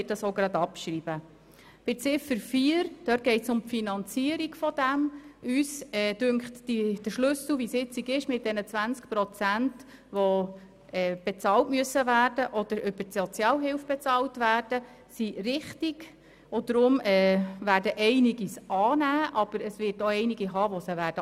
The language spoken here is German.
Bei der Ziffer 4 finden wir es richtig, dass 20 Prozent selbst oder von der Sozialhilfe bezahlt werden müssen, aber da gibt es bei uns auch Gegenstimmen.